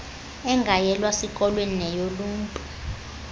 engayelwa sikolweni neyoluntu